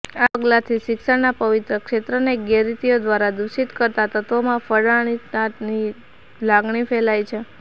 આ પગલાંથી શિક્ષણના પવિત્ર ક્ષેત્રને ગેરરીતિઓ દ્વારા દુષિત કરતા તત્વોમાં ફફડાટની લાગણી ફેલાઇ છે